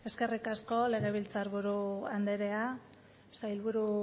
eskerrik asko legebiltzar buru andrea sailburu